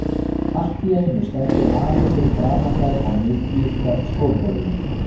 Allt í einu stendur afi fyrir framan þær á miðju stofugólfinu.